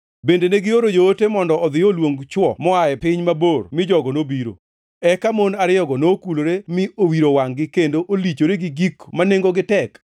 “Bende negioro joote mondo odhi oluong chwo moa e piny mabor mi jogo nobiro. Eka mon ariyogo noluokore mi owiro wangʼ-gi kendo olichore gi gik ma nengogi tek.